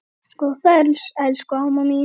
Góða ferð elsku amma mín.